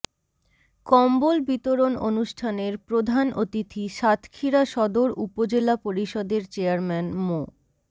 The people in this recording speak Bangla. কম্বল বিতরণ অনুষ্ঠানের প্রধান অতিথি সাতক্ষীরা সদর উপজেলা পরিষদের চেয়ারম্যান মো